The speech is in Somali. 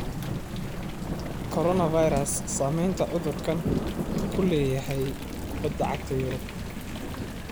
Coronavirus: Saamaynta cudurkan ku leeyahay Kubadda Cagta Yurub